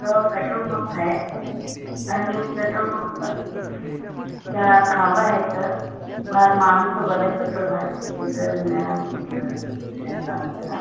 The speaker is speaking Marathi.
हयो पेट्रोल पंप हाय आणि पेट्रोल पंप मागे चार खांब हायत बाहेर माणूस उभारलाय पेट्रोल भरण्यासाठी --